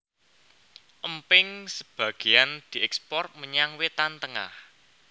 Emping sebagéan diékspor menyang Wétan Tengah